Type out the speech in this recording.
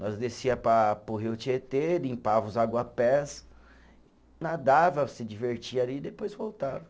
Nós descia para para o rio Tietê, limpava os aguapés, nadava, se divertia ali e depois voltava.